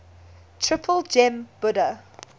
triple gem buddha